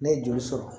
Ne ye joli sɔrɔ